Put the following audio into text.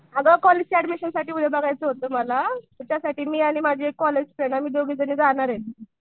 अगं कॉलेजच्या ऍडमिशन साठी बघायचं होतं मला. मग त्यासाठी मी आणि माझी कॉलेज फ्रेंड आम्ही दोघी जाणार ये.